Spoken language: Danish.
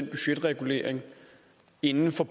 budgetreguleringen inden for